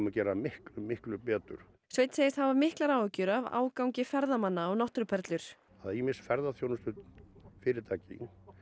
gera miklu miklu betur sveinn segist hafa miklar áhyggjur af ágangi ferðamanna á náttúruperlur ýmis ferðaþjónustufyrirtæki